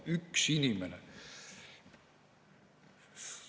Üks inimene!